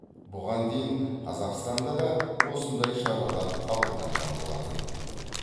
бұған дейін қазақстанда да осындай шаралар қабылданған болатын